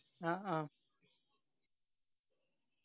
ആ ആ